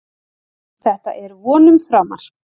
Þetta er vonum framar